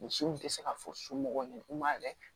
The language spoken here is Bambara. Misiw tɛ se ka fɔ su mɔgɔw ɲɛna k'u ma yɛrɛ